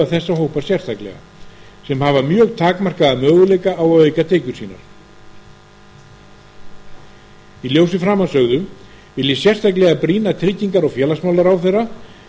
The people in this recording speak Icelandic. að aðstoða þessa hópa sérstaklega sem hafa mjög takmarkaða möguleika á að auka tekjur sínar í ljósi framansögðu vil ég sérstaklega brýna trygginga og félagsmálaráðherra